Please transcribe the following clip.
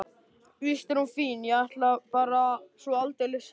Víst er hún fín, ég er bara svo aldeilis hissa.